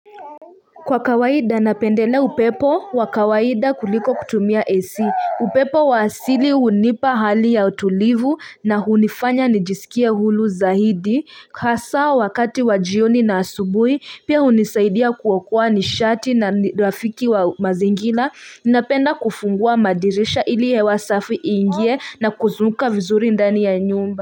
Kwa kawaida napendelea upepo, wa kawaida kuliko kutumia AC, upepo wa asili hunipa hali ya utulivu na hunifanya nijisikie huru zaidi, hasa wakati wa jioni na asubuhi, pia hunisaidia kuokoa nishati na rafiki wa mazingira, napenda kufungua madirisha ili hewa safi iingie na kuzunguka vizuri ndani ya nyumba.